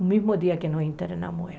No mesmo dia que nós internamos ela.